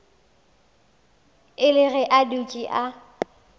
ile ge a dutše a